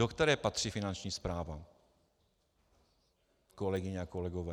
Do které patří Finanční správa, kolegyně a kolegové?